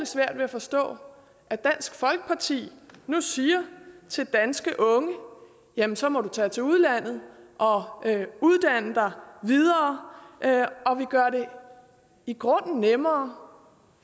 svært ved at forstå at dansk folkeparti nu siger til danske unge jamen så må du tage til udlandet og uddanne dig videre og vi gør det i grunden nemmere